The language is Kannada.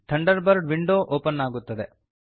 ಥಂಡರ್ಬರ್ಡ್ ವಿಂಡೋ ಓಪನ್ ಆಗುತ್ತದೆ